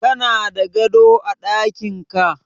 Kana da gado a daƙinka?